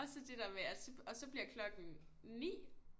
Og så det der med at og så bliver klokken 9